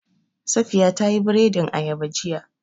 Safiya ta yi biredin ayaba jiya